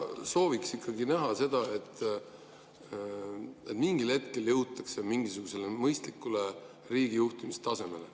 Sooviks ikkagi näha, et mingil hetkel jõutakse mingisugusele mõistlikule riigijuhtimistasemele.